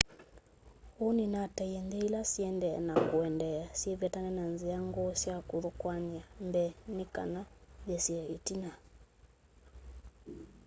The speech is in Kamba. hu nunataie nthi ila siendee na kuendeea syivetane na nzia nguu ya kuthokoany'a mbee nikana ithesye itina